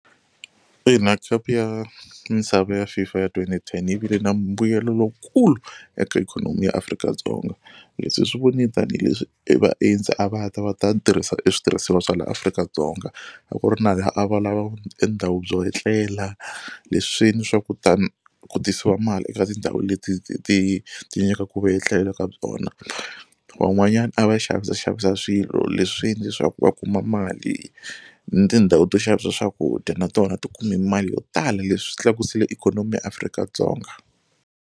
Ina khapu ya misava ya FIFA ya twenty-ten yi vile na mbuyelo lowukulu eka ikhonomi ya Afrika-Dzonga. Leswi hi swi voni tanihileswi e vaendzi a va ta va ta tirhisa e switirhisiwa swa laha Afrika-Dzonga. A ku ri na a va lava e ndhawu byo etlela leswi swi endle swa kutani ku tisiwa mali eka tindhawu leti ti ti ti nyikaku vuetlelo ka byona. Van'wanyana a va xavisaxavisa swilo leswi endle swa ku va kuma mali ni tindhawu to xavisa swakudya na tona ti kume mali yo tala leswi tlakusile ikhonomi ya Afrika-Dzonga.